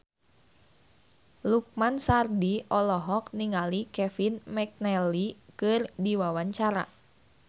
Lukman Sardi olohok ningali Kevin McNally keur diwawancara